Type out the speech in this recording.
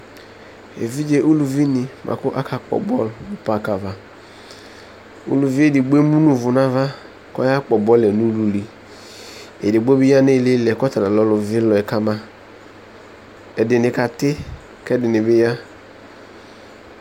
Evidze uluvi ni buakʋ akakpɔ bɔlu nʋ park avaUluvi edigbo ɛmu nu ʋvʋ nava, kɔyakpɔ bɔluɛ nʋluliEdigno bi ya nʋ ilili yɛ , kʋ ɔtalanʋ ɔluvilɔ yɛ kamaƐdini kati , kɛdini ya